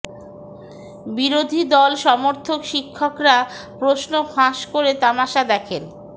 বিরোধী দল সমর্থক শিক্ষকরা প্রশ্ন ফাঁস করে তামাশা দেখেন